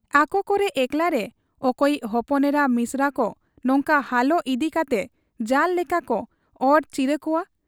ᱟᱠᱚ ᱠᱚᱨᱮ ᱮᱠᱞᱟᱨᱮ ᱚᱠᱚᱭᱤᱡ ᱦᱚᱯᱚᱱᱮᱨᱟ ᱢᱤᱥᱮᱨᱟ ᱠᱚ ᱱᱚᱝᱠᱟ ᱦᱟᱞᱚ ᱤᱫᱤ ᱠᱟᱛᱮ ᱡᱟᱞᱚ ᱞᱮᱠᱟᱠᱚ ᱚᱨ ᱪᱤᱨᱟᱹ ᱠᱚᱣᱟ ᱾